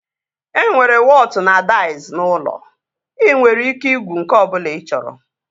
E nwere wọtụ na daiz n'ụlọ. Ị nwere ike igwu nke ọbụla ị chọrọ